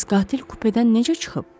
Bəs qatil kupedən necə çıxıb?